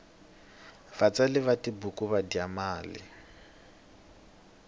vatsari va tibuku va dya mali